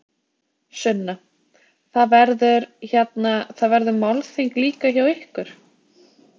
Sunna: Það verður, hérna, það verður málþing líka hjá ykkur?